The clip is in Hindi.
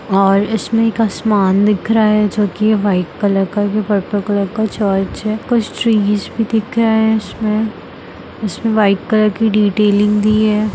और इसमें एक आसमान दिख रहा है जो कि व्हाइट कलर का जो पर्पल कलर का चर्च है कुछ ट्रीज भी दिख रहे हैं इसमें इसमें व्हाइट कलर की डिटेलिंग भी है।